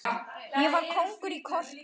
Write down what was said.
Ég var kóngur í korter.